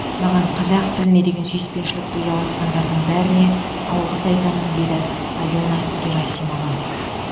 маған қазақ тіліне деген сүйіспеншілікті ұялатқандардың бәріне алғыс айтамын дейді алена герасимова